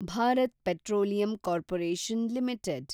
Bharat petroleum corporation limited